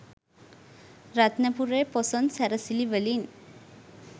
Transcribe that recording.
රත්නපුරේ පොසොන් සැරසිලි වලින්